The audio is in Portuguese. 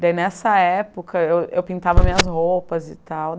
Daí, nessa época, eu eu pintava minhas roupas e tal.